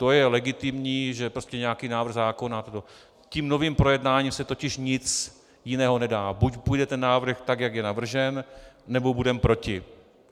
To je legitimní, že prostě nějaký návrh zákona - tím novým projednáním se totiž nic jiného nedá, buď bude ten návrh tak, jak je navržen, nebo budeme proti.